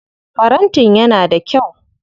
Farantin yana da kyau.